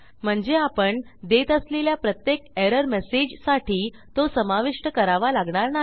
म्हणजे आपण देत असलेल्या प्रत्येक एरर मेसेजसाठी तो समाविष्ट करावा लागणार नाही